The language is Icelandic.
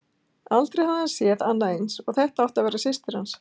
Aldrei hafði hann séð annað eins, og þetta átti að vera systir hans.